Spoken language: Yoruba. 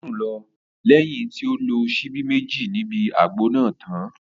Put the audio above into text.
Ó sùn lọ lẹ́yìn tí ó lo síbí Méjì níbi àgbo náà tán